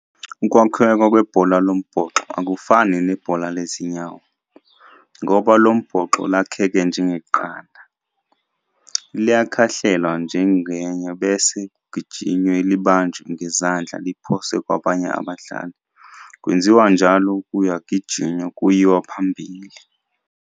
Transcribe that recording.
Ukwakheka kwebhola lombhoxo akufani nebhola lezinyawo, ngoba lombhoxo lakhekhe njengeqanda, liyakhahlelwa ngenyawo bese kugijinywe libanjwe ngezandla liphoswe kwabanye abadlali, kwenziwa njalo kuyagijinywa kuyiwa phambili.